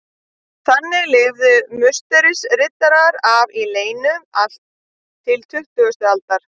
Þannig lifðu Musterisriddarar af í leynum allt til tuttugustu aldar.